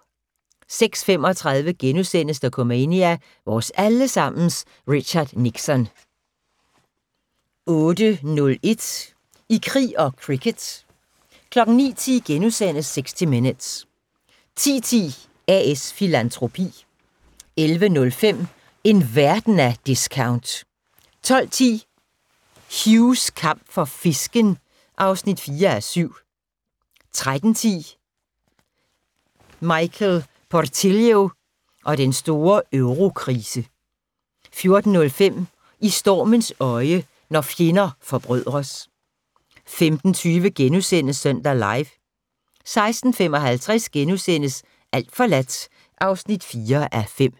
06:35: Dokumania: Vores alle sammens Richard Nixon * 08:01: I krig og cricket 09:10: 60 Minutes * 10:10: A/S Filantropi 11:05: En verden af discount 12:10: Hughs kamp for fisken (4:7) 13:10: Michael Portillo og den store eurokrise 14:05: I stormens øje – når fjender forbrødres 15:20: Søndag Live * 16:55: Alt forladt (4:5)*